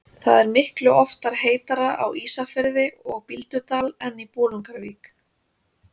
Það er miklu oftar heitara á Ísafirði og Bíldudal en í Bolungarvík.